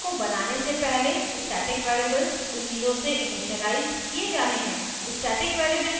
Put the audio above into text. प्रथम object को बनाने से पहले static variables zero से इनिशिअलाइज़ किये जाने हैं